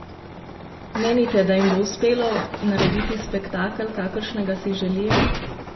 Menite, da jim bo uspelo narediti spektakel, kakršnega si želijo?